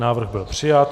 Návrh byl přijat.